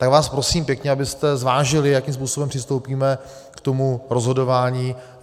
Tak vás prosím pěkně, abyste zvážili, jakým způsobem přistoupíme k tomu rozhodování.